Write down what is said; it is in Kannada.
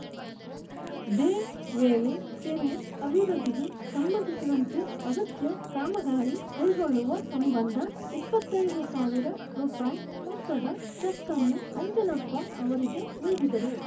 ದೇ ವೇಳೆ ಕೆರೆ ಅಭಿವೃದ್ಧಿಗೆ ಸಂಬಂಧಿಸಿದಂತೆ ಅಗತ್ಯ ಕಾಮಗಾರಿ ಕೈಗೊಳ್ಳುವ ಸಂಬಂಧ ಇಪ್ಪತ್ತ್ ಐದು ಸಾವಿರ ರೂಪಾಯಿ ಮೊತ್ತದ ಚೆಕ್‌ ಅನ್ನು ಅಂಜನಪ್ಪ ಅವರಿಗೆ ನೀಡಿದರು